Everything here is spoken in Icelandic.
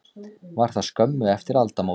Var það skömmu eftir aldamót.